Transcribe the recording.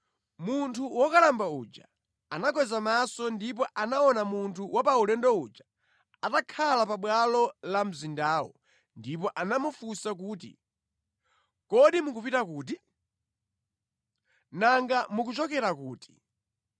Munthu wokalamba uja anakweza maso ndipo anaona munthu wa paulendo uja atakhala pabwalo la mzindawo, ndipo anamufunsa kuti, “Kodi mukupita kuti? Nanga mukuchokera kuti?”